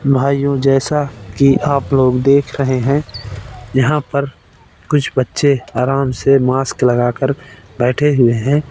भाइयों जैसा की आप लोग देख रहें है यहां पर कुछ बच्चे आराम से मास्क लगाकर बैठे हुए हैं।